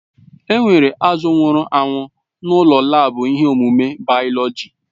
Enwere azụ̀ nwụrụ anwụ n'ụlọ laabu ihe ọmụmụ bayoloji.